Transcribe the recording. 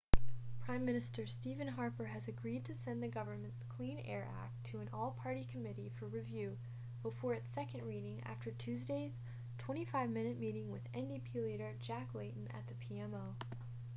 prime minister stephen harper has agreed to send the government's clean air act' to an all-party committee for review before its second reading after tuesday's 25 minute meeting with ndp leader jack layton at the pmo